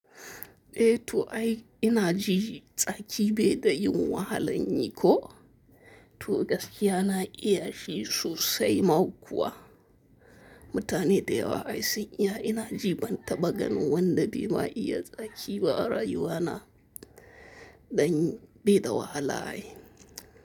Eh, to ai ina ji tsaki baida yin wahalan yi ko? To gaskiya na iya shi sosai ma kuwa. Mutane da yawa ai sun iyi ina ji ban taba ganin wanda be ma iya tsaki ba a rayuwa na, dan bai da wahala ai.